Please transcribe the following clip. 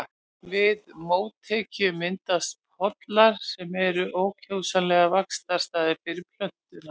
Við mótekju myndast pollar sem eru ákjósanlegir vaxtarstaðir fyrir plöntuna.